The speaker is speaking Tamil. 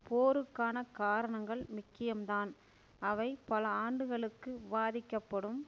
போருக்கான காரணங்கள் முக்கியம்தான் அவை பல ஆண்டுகளுக்கு விவாதிக்கப்படும்